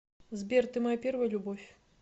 сбер ты моя первая любовь